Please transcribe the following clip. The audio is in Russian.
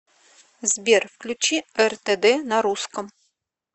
сбер включи эр тэ дэ на русском